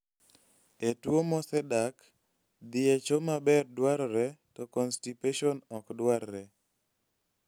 e tuwo mosedak, dhii e choo maber dwarore to constipation okdwarre